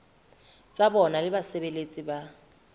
tsa bona le basebeletsi ba